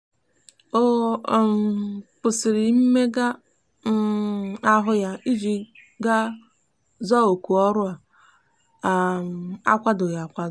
ọ um kwụsịrị mmega um ahụ ya iji ga za oku ọrụ ọ kwadoghị akwado.